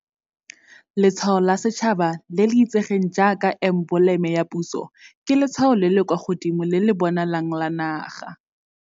Letshwao la Setšhaba, le le itsegeng jaaka emboleme ya puso, ke letshwao le le kwa godimo le le bonalang la naga.